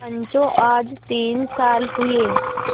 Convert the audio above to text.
पंचो आज तीन साल हुए